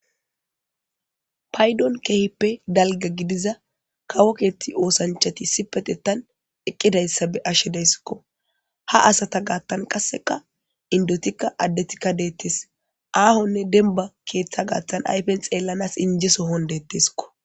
paydon keehippe dalga gidiza kawo keeti oosanchati ispetetan eqqidayssa be ashshe deyssikko ha asata gaattan qasseka indotikka addetikka deettes aahonne denba keeththa gaattan ayfen xeellanas injeso hon detteskko